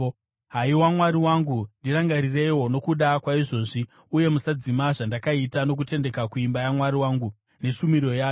Haiwa Mwari wangu, ndirangarireiwo nokuda kwaizvozvi, uye musadzima zvandakaita nokutendeka kuimba yaMwari wangu, neshumiro yayo.